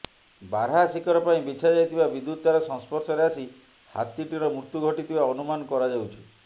ବାରହା ଶିକାର ପାଇଁ ବିଛାଯାଇଥିବା ବିଦ୍ୟୁତ୍ ତାର ସଂସ୍ପର୍ଶରେ ଆସି ହାତୀଟିର ମୃତ୍ୟୁ ଘଟିଥିବା ଅନୁମାନ କରାଯାଉଛି